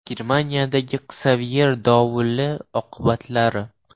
Germaniyadagi “Ksavyer” dovuli oqibatlari.